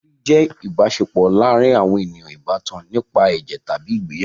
Ẹbi jẹ́ ìbáṣepọ̀ láàárin àwọn ènìyàn ìbátan nípa ẹ̀jẹ̀ tàbí ìgbéyàwó.